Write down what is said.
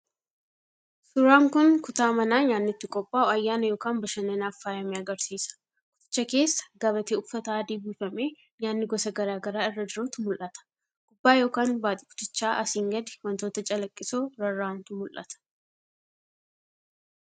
1.Suuraan kun kutaa manaa nyaanni itti qophaa'u ayyaana yookaan bashannanaaf faayame agarsiisa. 2.Kutticha keessa gabatee uffata adii uwwifamee nyaatni gosa gara garaa irra jirutu mul'ata. 3.Gubbaa yookaan baaxii kutichaa asiin gadi wantoota calaqqisoo rarra'antu mul'ata.